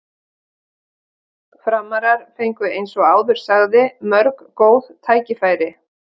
Framarar fengu eins og áður sagði mörg góð færi.